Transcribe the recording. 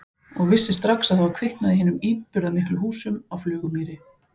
Og vissi strax að það var kviknað í hinum íburðarmiklu húsum á Flugumýri.